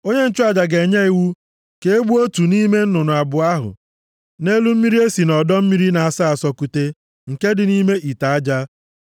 Onye nchụaja ga-enye iwu ka e gbuo otu nʼime nnụnụ abụọ ahụ nʼelu mmiri e si nʼọdọ mmiri na-asọ asọ kute nke dị nʼime ite aja.